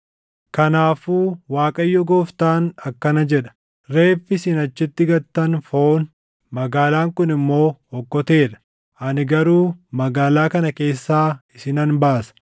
“Kanaafuu Waaqayyo Gooftaan akkana jedha: Reeffi isin achitti gattan foon; magaalaan kun immoo okkotee dha; ani garuu magaalaa kana keessaa isinan baasa.